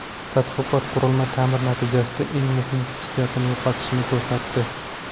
Tadqiqot qurilma ta’mir natijasida eng muhim xususiyatini yo‘qotishini ko‘rsatdi.